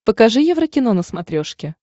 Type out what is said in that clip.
покажи еврокино на смотрешке